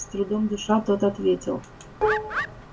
с трудом дыша тот ответил